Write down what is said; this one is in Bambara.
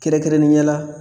Kɛrɛkɛrɛnenya la